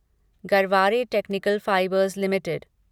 Garware technical fibres limited